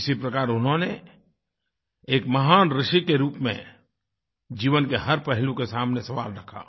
इसी प्रकार उन्होंने एक महान ऋषि के रूप में जीवन के हर पहलू के सामने सवाल रखा